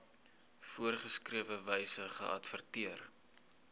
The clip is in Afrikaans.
voorgeskrewe wyse geadverteer